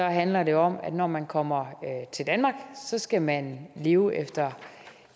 handler det om at når man kommer til danmark skal man leve efter